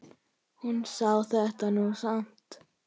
Hún sá þetta nú samt.